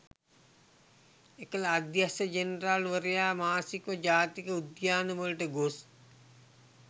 එකල අධ්‍යක්‍ෂ ජනරාල් වරයා මාසිකව ජාතික උද්‍යානවලට ගොස්